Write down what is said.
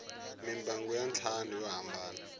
mimbangu ya ntlhanu yo hambana